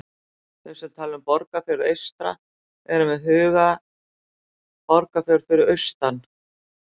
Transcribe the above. Þeir sem tala um Borgarfjörð eystra eru með í huga Borgarfjörð fyrir austan.